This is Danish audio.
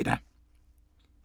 04:05: Nattevagten Highlights (søn-fre)